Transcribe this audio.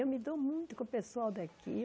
Eu me dou muito com o pessoal daqui.